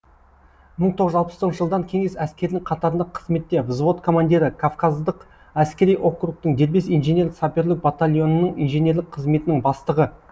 мың тоғыз жүз алпыс тоғызыншы жылдан кеңес әскерінің қатарында қызметте взвод командирі кавказдық әскери округтың дербес инженер саперлік батальонының инженерлік қызметінің бастығы